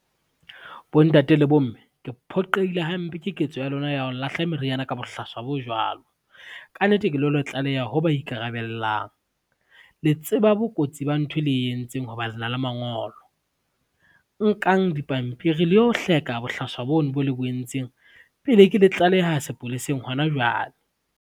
Bontate le bomme ke phoqeile hampe ke ketso ya lona ya ho lahla meriana ka bohlaswa bo jwalo, ka nnete ke lo le tlaleha ho ba ikarabellang. Le tseba bo kotsi ba nthwe le entseng ho ba lena le mangolo, nkang dipampiri le yo hleka bohlaswa bo no bo le bo entseng pele ke le tlaleha sepoleseng hona jwale.